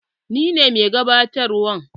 Ni ne mai gabatarwa.